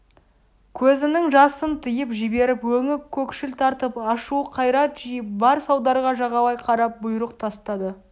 көзінің жасын тыйып жіберіп өңі көкшіл тартып ашулы қайрат жиып бар салдарға жағалай қарап бұйрық тастады